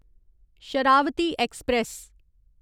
Sharavati express